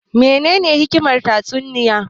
Me ne ne hikimar tatsuniya